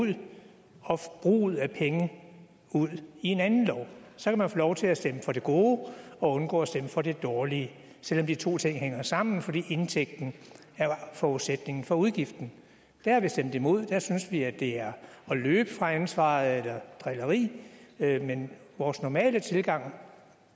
ud og forbruget af penge ud i en anden lov så kan man få lov til at stemme for det gode og undgå at stemme for det dårlige selv om de to ting hænger sammen fordi indtægten er forudsætningen for udgiften der har vi stemt imod der synes vi at det er at løbe fra ansvaret eller drilleri men vores normale tilgang